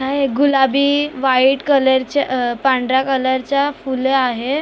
हा एक गुलाबी व्हाईट कलरचे पांढऱ्या कलरच्या फूल आहे .